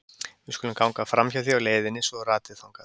Við skulum ganga framhjá því á leiðinni svo þú ratir þangað.